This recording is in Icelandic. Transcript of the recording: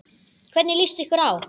Hvernig lýst ykkur á?